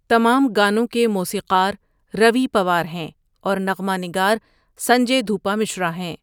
تمام گانوں کے موسیقار روی پوار ہیں اور نغمہ نگار سنجے دھوپا مشرا ہیں۔